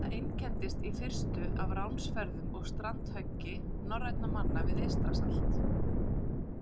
Það einkenndist í fyrstu af ránsferðum og strandhöggi norrænna manna við Eystrasalt.